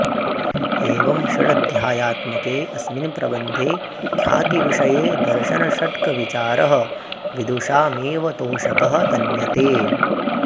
एवं षडध्यायात्मके अस्मिन् प्रबन्धे ख्यातिविषये दर्शनषट्कविचारः विदुषामेव तोषकः तन्यते